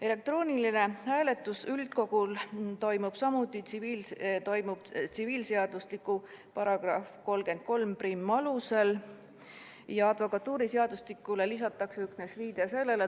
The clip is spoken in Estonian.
Elektrooniline hääletus üldkogul toimub tsiviilseadustiku üldosa seaduse § 331 alusel, advokatuuriseadusse lisatakse üksnes viide sellele.